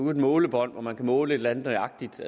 et målebånd hvor man kan måle et eller andet nøjagtigt